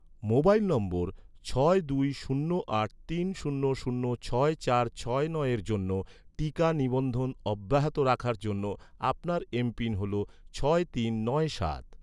mobile নম্বর ছয় দুই শূন্য আট তিন শূন্য শূন্য ছয় চার ছয় নয়ের জন্য, টিকা নিবন্ধন অব্যাহত রাখার জন্য, আপনার এমপিন হল ছয় তিন নয় সাত